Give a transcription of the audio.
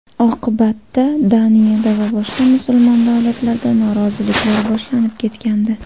Oqibatda Daniyada va boshqa musulmon davlatlarda noroziliklar boshlanib ketgandi.